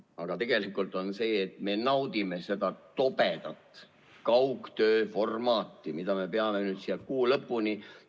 Aga tegelikult on see, et me naudime seda tobedat kaugtööformaati, mida me peame nüüd siin kuu lõpuni kasutama.